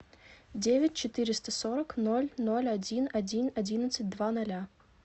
девять четыреста сорок ноль ноль один один одиннадцать два ноля